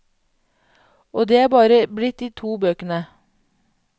Og det er bare blitt de to bøkene.